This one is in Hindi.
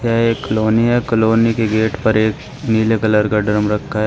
यह एक कॉलोनी है। कॉलोनी के गेट पर एक नीले कलर का ड्रम रखा है।